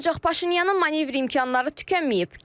Ancaq Paşinyanın manevr imkanları tükənməyib.